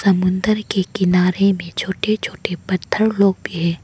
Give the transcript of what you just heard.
समुंदर के किनारे में छोटे छोटे पत्थर लोग भी हैं।